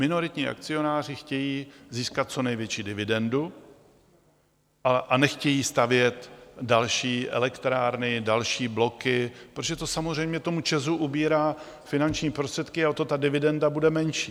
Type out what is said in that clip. Minoritní akcionáři chtějí získat co největší dividendu a nechtějí stavět další elektrárny, další bloky, protože to samozřejmě tomu ČEZu ubírá finanční prostředky a o to ta dividenda bude menší.